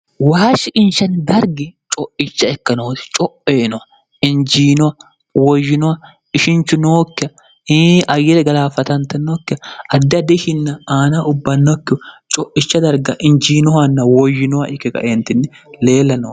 waashshi inshanni bargi co'icha ekkenooti co'eeno injiino woyyinoha ishinchu nookke hii ayile galaafatante nokke addidiihinna aana ubbannokki co'icha darga injiinohanna woyyinoha ike gaeentinni leella no